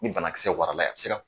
Ni banakisɛ warala, a be se ka